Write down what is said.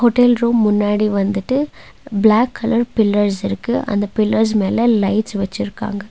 Hotel room முன்னாடி வந்துட்டு black colour pillars இருக்கு அந்த பில்லர்ஸ் மேல லைட்ஸ் வச்சுருக்காங்க.